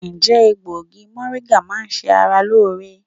Ǹjẹ́ egbògi mọ̀ríńgà máa ń ṣe ara lóore?